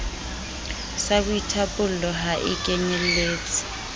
sa boithapollo ha e kenyeletse